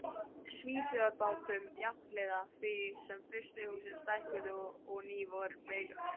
Svíþjóðarbátum, jafnhliða því sem frystihúsin stækkuðu og ný voru byggð.